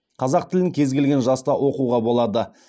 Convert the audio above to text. қазақ тілін кез келген жаста оқуға болады